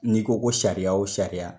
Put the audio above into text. N'i ko ko sariya o sariya